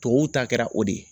Tubabuw ta kɛra o de ye